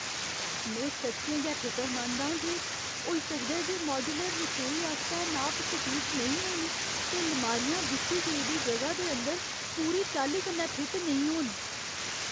में सच्चें गै फिकरमंद आं जे होई सकदा ऐ जे माड्यूलर रसोई आस्तै नाप सटीक नेईं होन, ते लमारियां दित्ती गेदी जगह दे अंदर पूरी चाल्ली कन्नै फिट नेईं होन।